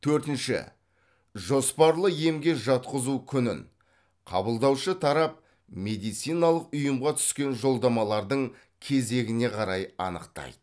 төртінші жоспарлы емге жатқызу күнін қабылдаушы тарап медициналық ұйымға түскен жолдамалардың кезегіне қарай анықтайды